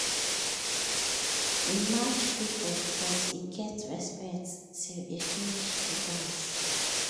e match people but e get respect till e finish de dance.